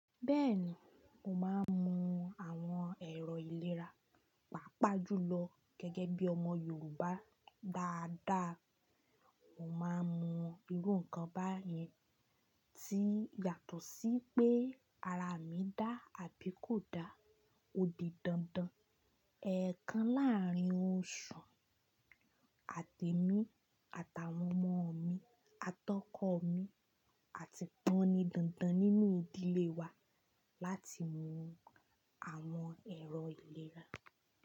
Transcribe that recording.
Bẹ́ẹ̀ni, mo máa ń mu àwọn ẹ̀rọ ìlera, pàápàá jùlọ gẹ́gẹ́ bí ọmọ Yorùbá dáadáa. Mo máa ń mu irú nǹkan báyìí tí yàtọ̀ sí pé ara mi dá àbí kò da. Ó di dandan, ẹ̀ẹ̀kan láàrín oṣù àti mi àtàwọn ọmọ mi, atọ́kọ̀ mi àti taní dandan nínú ìdílé wa láti mu àwọn ẹ̀rọ ìlera.